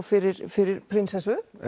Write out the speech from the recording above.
fyrir fyrir prinsessu